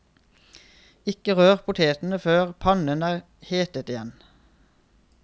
Ikke rør potetene før pannen er hetet igjen.